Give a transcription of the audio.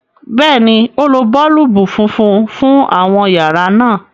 béèni, o ló boolubu fúnfún fún àwọn yàrá náa.